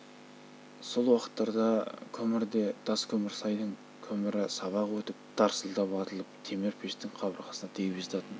сол уақыттарда көмір де таскөмірсайдың көмірі сабақ өтіп жатсаң тарсылдап атылып темір пештің қабырғасына тиіп жататын